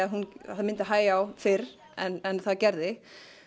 það myndi hægja á fyrr en það gerði